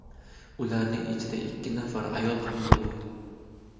Ularning ichida ikki nafari ayol ham bo‘lgan.